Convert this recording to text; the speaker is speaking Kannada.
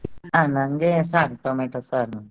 ಹಾ ನಂಗೆ ಸಾರ್ tomato ಸಾರ್.